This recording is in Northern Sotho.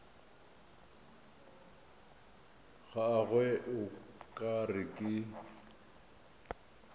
gagwe o ka re ke